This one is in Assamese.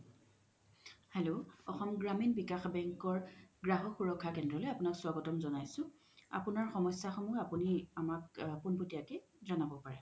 hello অসম গ্ৰামীণ বিকাশ বেংকৰ গ্ৰহক সুৰক্ষা কেন্দ্ৰালয়ই আপোনাক স্ৱাগ্তাম জ্নাইছো আপোনাৰ সমস্যা সমুহ আপুনি আমাক পুনপতিয়া কে জনাব পাৰে